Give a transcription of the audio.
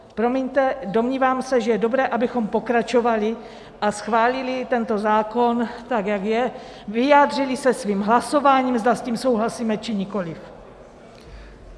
Promiňte, domnívám se, že je dobré, abychom pokračovali a schválili tento zákon tak, jak je, vyjádřili se svým hlasováním, zda s tím souhlasíme, či nikoliv.